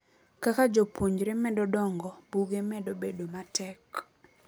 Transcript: Kaka jopuonjre medo dongo, buge medo bedo matek.